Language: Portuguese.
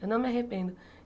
Eu não me arrependo.